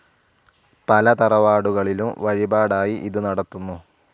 പല തറവാടുകളിലും വഴിപാടായി ഇത് നടത്തുന്നു.